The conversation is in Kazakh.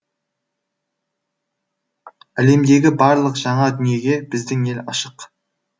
әлемдегі барлық жаңа дүниеге біздің ел ашық